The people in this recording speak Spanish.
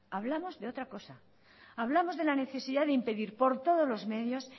hablamos de otra cosa hablamos de la necesidad de impedir por todos los medios